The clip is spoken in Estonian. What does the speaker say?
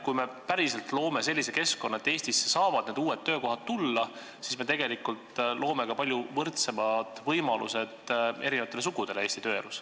Kui me päriselt loome sellise keskkonna, et need uued töökohad saavad Eestisse tulla, siis me loome ka palju võrdsemad võimalused eri sugudele Eesti tööelus.